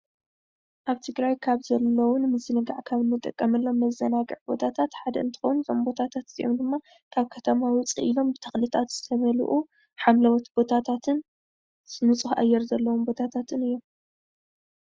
ኣብ ትግራይ ካብ ዘለው ንምዝንጋዕ ካብ እንጥቀመሎም መዘናግዒ ቦታታት ሓደ እንትከውን፣ እዞም ቦታታት እዚኦም ድማ ካብ ከተማ ውፅእ ኢሎም ብተክልታት ሓምለዎት ቦታታትን ንፁህ ኣየር ዘለዎም ቦታታትን እዮም፡፡